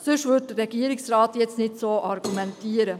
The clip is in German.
Sonst würde der Regierungsrat jetzt nicht so argumentieren.